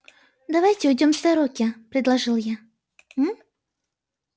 давайте уйдём с дороги предложил я